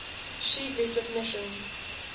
sheet leaflet mission